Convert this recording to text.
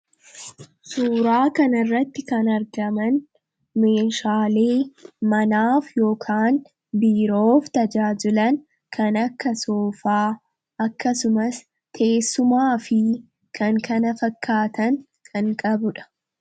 Suuraa kan irratti kan argaman meeshaalee manaaf ykaan biiroof tajaajilan kan akka soofaa akkasumas teessumaa fi kan kana fakkaatan kan qabudha.